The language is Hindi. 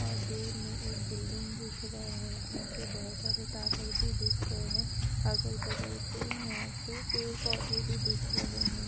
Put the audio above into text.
और दूर मे एक बिल्डिंग दिख रहा है यहाँ पे बहुत सारे टावर भी दिख रहे है अगल-बगल पे यहाँ पे पेड़ पौधे भी दिख रहे हैं।